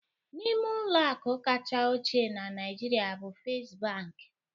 N'ime ụlọ akụ kacha ochie na Naịjirịa bụ First Bank